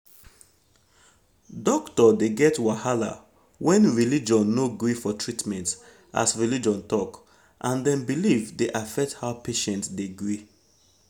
doctor dey get wahala when religion no gree for treatment as religion talk and dem belief de affect how patient de gree